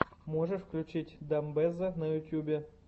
можешь включить дамбэзза на ютубе